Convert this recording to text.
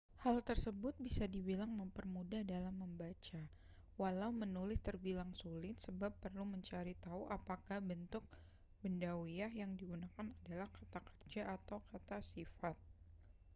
hal tersebut bisa dibilang mempermudah dalam membaca walau menulis terbilang sulit sebab perlu mencari tahu apakah bentuk bendawiah yang digunakan adalah kata kerja atau kata sifat